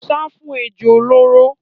Sá fún ejò olóró.